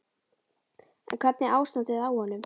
En hvernig er ástandið á honum?